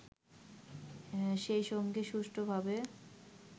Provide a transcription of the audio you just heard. সেইসঙ্গে সুষ্ঠুভাবে